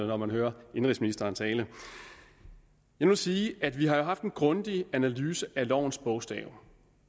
når man hører indenrigsministeren tale jeg vil sige at vi har haft en grundig analyse af lovens bogstav